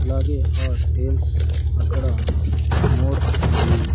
అలాగే హాటేల్స్ అక్కడ మోర్ మరియు.